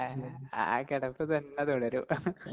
ആ കെടപ്പ് തന്നെ തുടരും